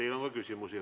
Teile on ka küsimusi.